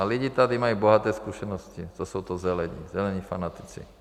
A lidi tady mají bohaté zkušenosti, co jsou to Zelení, zelení fanatici.